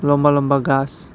লম্বা লম্বা গাছ।